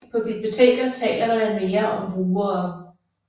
På biblioteker taler man mere om brugere